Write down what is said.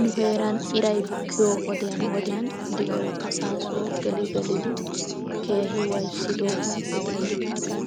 Nu heeran iray bukkiyoo wodiyan wodiyan di"oy assasoo geli gelidi keehi waayissidoogaappe denddidaagan